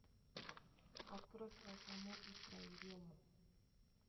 открой про фому и про ерему